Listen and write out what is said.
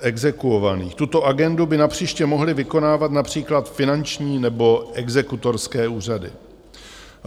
Tuto agendu by napříště mohly vykonávat například finanční nebo exekutorské úřady.